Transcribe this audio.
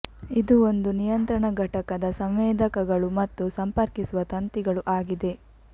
ಇದು ಒಂದು ನಿಯಂತ್ರಣ ಘಟಕದ ಸಂವೇದಕಗಳು ಮತ್ತು ಸಂಪರ್ಕಿಸುವ ತಂತಿಗಳು ಆಗಿದೆ